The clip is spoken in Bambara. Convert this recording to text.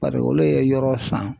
Paseke olu ye yɔrɔ san